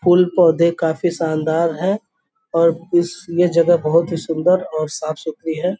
फूल-पौधे काफ़ी शानदार है और इस ये जगह बहोत ही सुन्दर और साफ़-सुथरी है।